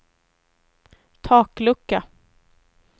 taklucka